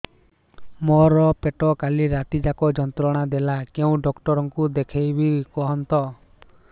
ମୋର ପେଟ କାଲି ରାତି ଯାକ ଯନ୍ତ୍ରଣା ଦେଲା କେଉଁ ଡକ୍ଟର ଙ୍କୁ ଦେଖାଇବି କୁହନ୍ତ